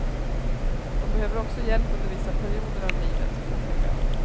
De behöver också hjälp under vissa perioder av livet, påpekar hon.